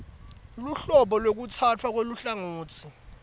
luhlobo lwekutsatfwa kweluhlangotsi